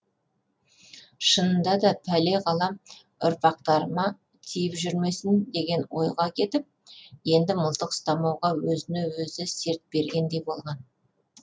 шынында да пәле қалам ұрпақтарыма тиіп жүрмесін деген ойға кетіп енді мылтық ұстамауға өзіне өзі серт бергендей болған